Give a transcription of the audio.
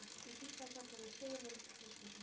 Ég kinkaði kolli og við stigum inn fyrir þröskuldinn.